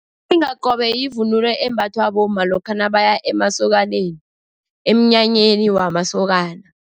Umlingakobe yivunulo embathwa bomma lokha nabaya emasokaneni, emnyanyeni wamasokana.